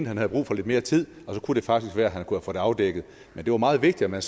han havde brug for lidt mere tid og så kunne det faktisk være han kunne have fået det afdækket men det var meget vigtigt at man